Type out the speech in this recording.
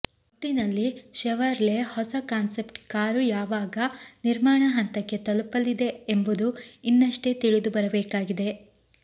ಒಟ್ಟಿನಲ್ಲಿ ಷೆವರ್ಲೆ ಹೊಸ concept car ಯಾವಾಗ ನಿರ್ಮಾಣ ಹಂತಕ್ಕೆ ತಲುಪಲಿದೆ ಎಂಬುದು ಇನ್ನಷ್ಟೇ ತಿಳಿದು ಬರಬೇಕಾಗಿದೆ